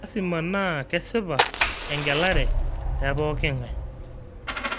Lasima naa kesipa engelare te pookin ng'ae